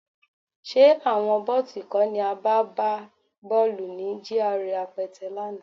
Ṣé àwọn bọ̀tí kọ́ ni a bá gbá bọ́ọ̀lù ní GRA Apẹtẹ lánàá?